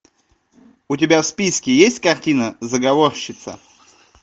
у тебя в списке есть картина заговорщица